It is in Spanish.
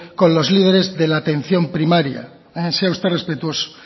con los líderes de la atención primaria sea usted respetuoso